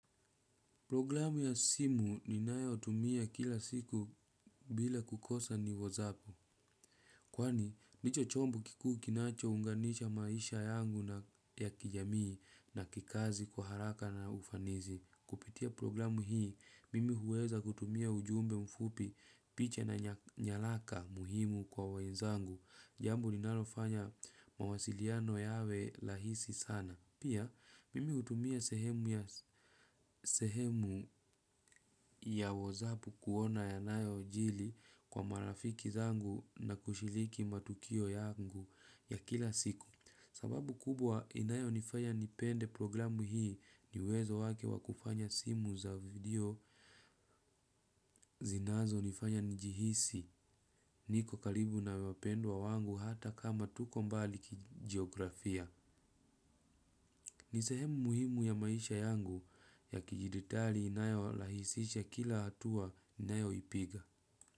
Programu ya simu ninayotumia kila siku bila kukosa ni whatsapp. Kwani, hicho chombo kikuu kinachounganisha maisha yangu na ya kijamii na kikazi kwa haraka na ufanisi. Kupitia programu hii, mimi huweza kutumia ujumbe mfupi, picha na nyaraka muhimu kwa wenzangu. Jambo linalofanya mawasiliano yawe rahisi sana. Pia, mimi hutumia sehemu ya whatsapp kuona yanayojiri kwa marafiki zangu na kushiriki matukio yangu ya kila siku. Sababu kubwa inayonifanya nipende programu hii ni uwezo wake wa kufanya simu za video zinazonifanya nijihisi niko karibu na wapendwa wangu hata kama tuko mbali kijiografia. Ni sehemu muhimu ya maisha yangu ya kidijitali inayorahisisha kila hatua ninayoipiga.